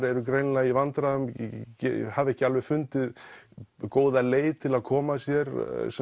eru greinilega í vandræðum hafa ekki alveg fundið góða leið til að koma sér